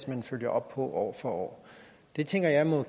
man følger op på år for år det tænker jeg må